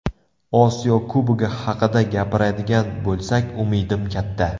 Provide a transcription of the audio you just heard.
Osiyo Kubogi haqida gapiradigan bo‘lsak umidim katta.